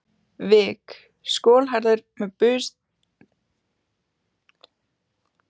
vik, skolhærður með burstaklippingu og þunnan blett á hvirflinum.